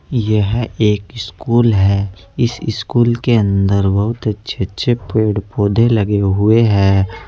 यह एक स्कूल है इस स्कूल के अंदर बहुत अच्छे अच्छे पेड़ पौधे लगे हुए हैं।